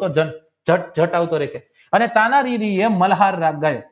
કી હા અને તાનાજી મલ્હાર રાગ ગયો